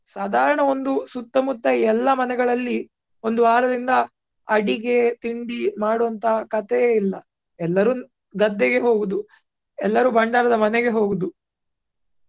ಸಾಧಾರಣ ಒಂದು ಸುತ್ತ ಮುತ್ತ ಎಲ್ಲ ಮನೆಗಳಲ್ಲಿ ಒಂದು ವಾರದಿಂದ ಅಡಿಗೆ, ತಿಂಡಿ ಮಾಡುವಂತ ಕಥೆಯೇ ಇಲ್ಲ ಎಲ್ಲರೂ ಗದ್ದೆಗೆ ಹೋಗುದು, ಎಲ್ಲರೂ ಭಂಡಾರದ ಮನೆಗೆ ಹೋಗುದು.